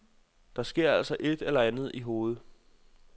Der sker altså et eller andet i hovedet.